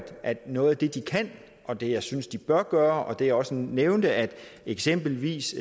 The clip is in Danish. noget af det de kan og det jeg synes de bør gøre og det jeg også nævnte er at eksempelvis